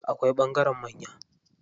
Akwai ɓangaren manya.